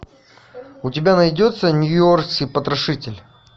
у тебя найдется нью йоркский потрошитель